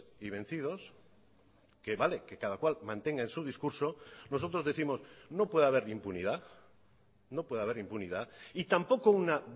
y vencidos que vale que cada cual mantenga en su discurso nosotros décimos no puede haber impunidad no puede haber impunidad y tampoco una